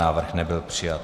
Návrh nebyl přijat.